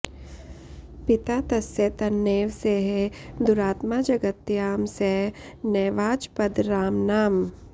पिता तस्य तन्नैव सेहे दुरात्मा जगत्यां स नैवाजपद् रामनाम